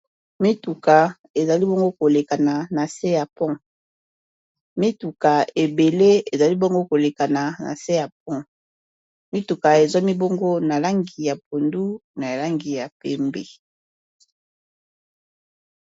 Mituka ezali bongo kolekana na se ya pond, Mituka ebele ezali bongo kolekana na se ya pond mituka esuami bongo na langi ya pondu na langi ya pembe.